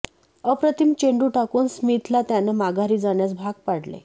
अप्रतिम चेंडू टाकून स्मिथला त्यानं माघारी जाण्यास भाग पाडले